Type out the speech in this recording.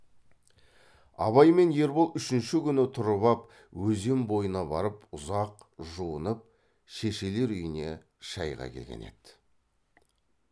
абай мен ербол үшінші күні тұрып ап өзен бойына барып ұзақ жуынып шешелер үйіне шайға келген еді